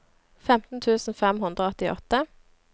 femten tusen fem hundre og åttiåtte